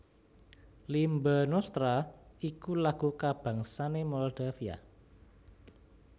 Limba Noastra iku lagu kabangsané Moldavia